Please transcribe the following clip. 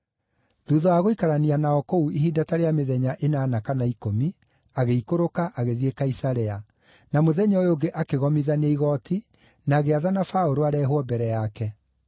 Thuutha wa gũikarania nao kũu ihinda ta rĩa mĩthenya ĩnana kana ikũmi, agĩikũrũka, agĩthiĩ Kaisarea, na mũthenya ũyũ ũngĩ akĩgomithania igooti, na agĩathana Paũlũ areehwo mbere yake.